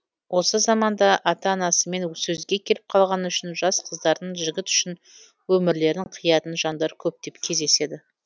осы заманда ата анасымен сөзге келіп қалғаны үшін жас қыздардың жігіт үшін өмірлерін қиятын жандар көптеп кездеседі